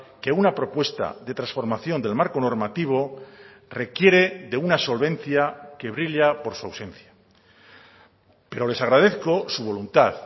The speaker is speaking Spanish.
que una propuesta de transformación del marco normativo requiere de una solvencia que brilla por su ausencia pero les agradezco su voluntad